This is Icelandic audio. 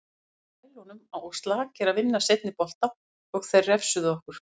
Við vorum á hælunum og slakir að vinna seinni bolta og þeir refsuðu okkur.